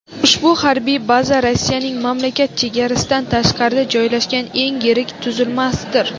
Ushbu harbiy baza Rossiyaning mamlakat chegarasidan tashqarida joylashgan eng yirik tuzilmasidir.